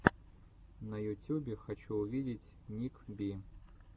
на ютюбе хочу увидеть ник би